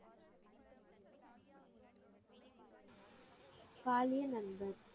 பாலிய நண்பர்.